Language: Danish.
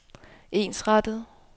ensrettet